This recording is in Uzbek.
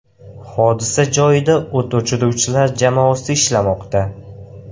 Hodisa joyida o‘t o‘chiruvchilar jamoasi ishlamoqda.